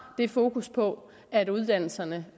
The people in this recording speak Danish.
det fokus på at uddannelserne